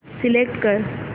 select कर